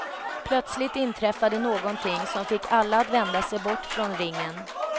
Plötsligt inträffade någonting som fick alla att vända sig bort från ringen.